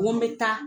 Ko n bɛ taa